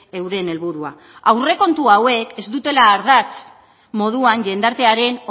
euren helburua aurrekontu hauek ez dutela ardatz moduan jendartearen